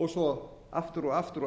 og svo aftur og aftur og